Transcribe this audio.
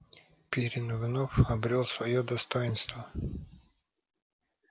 пиренн вновь обрёл своё достоинство